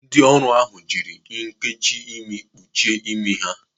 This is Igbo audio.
Ndị ọrụ ahụ jiri nnkechi imi kpuchie imi ha.